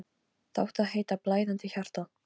Það átti að heita: Blæðandi hjarta.